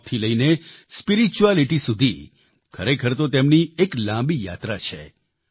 સ્ટોકથી લઈને સ્પિરિચ્યુઆલિટી સુધી ખરેખર તો તેમની એક લાંબી યાત્રા છે